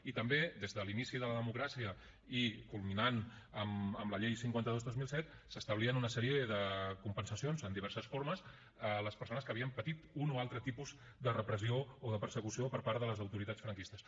i també des de l’inici de la democràcia i culminant amb la llei cinquanta dos dos mil set s’establien una sèrie de compensacions en diverses formes a les persones que havien patit un o altre tipus de repressió o de persecució per part de les autoritats franquistes